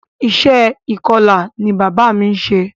Iṣẹ́ ìkọla ni bàbá mí ń ṣe.